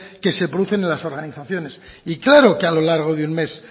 que se producen en las organizaciones y claro que a lo largo de un mes